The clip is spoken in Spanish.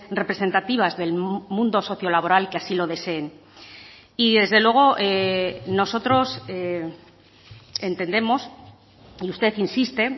representativas del mundo socio laboral que así lo deseen y desde luego nosotros entendemos y usted insiste